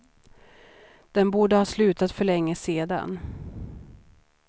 Den borde ha slutat för länge sedan.